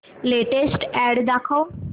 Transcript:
latest ad दाखव